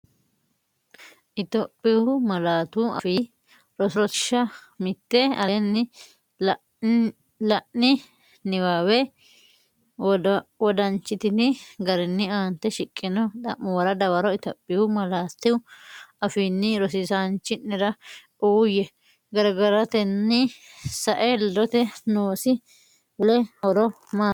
Itophiyu Malaatu Afii Roso Rosiishsha Mite Aleenni la’ini niwaawe wodanchitini garinni aante shiqqino xa’muwara dawaro Itophiyu malaatu afiinni rosiisaanchi’nera uuyye, gargaratenni sae ledote noosi wole horo maati?